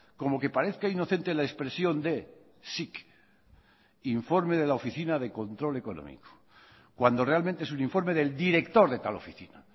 como que parezca inocente la expresión de sic informe de la oficina de control económico cuando realmente es un informe del director de tal oficina